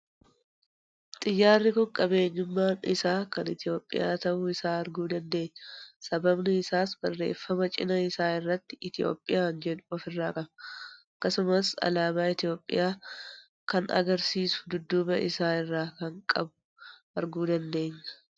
Xiyyaarri kun qabeenyummaan isaa kan Itoophiyaa ta'uu isaa arguu dandeenya; sababni isaas, barreeffama cinaa isaa irratti 'Ethiopian' jedhu ofirraa qaba. Akkasumas alaabaa Itoophiyaa kana argisiisu dudduuba isaa irraa akka qabu arguu dandeenya.